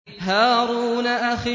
هَارُونَ أَخِي